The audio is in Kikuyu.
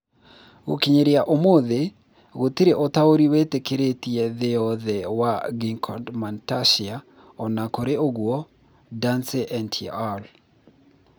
Gũkinyĩria ũmũthĩ, gũtirĩ ũtaũri wĩtĩkĩrĩkĩte thĩ yothe wa gigantomastia; o na kũrĩ ũguo, Dancey et al.